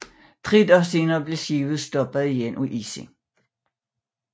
Tre dage senere blev skibet stoppet igen af isen